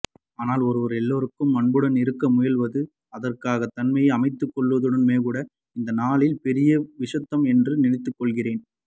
ஆனால் ஒருவர் எல்லாருக்கும் அன்புடன் இருக்க முயல்வதும் அதற்காக தன்னை அமைத்துக்கொள்வதுமேகூட இந்நாளில் பெரிய விஷயம்தான் என்று நினைத்துக்கொள்கிறேன்